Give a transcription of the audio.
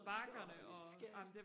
nåå lille skat